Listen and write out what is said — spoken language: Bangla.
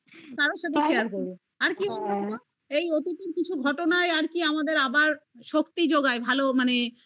কারোর সাথে share করব আর কি বলতো এই অতীতের কিছু ঘটনায় আর কি আমাদের আবার শক্তি যোগায় মানে